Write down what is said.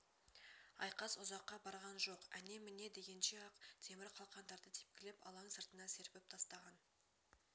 айқас ұзаққа барған жоқ әне-міне дегенше-ақ темір қалқандарды тепкілеп алаң сыртына серпіп тастаған